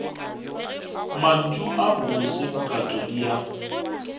mantšu a bose bokatodi ya